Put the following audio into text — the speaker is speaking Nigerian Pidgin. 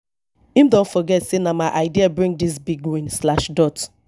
him don forget sey na my idea bring dis big win slash dot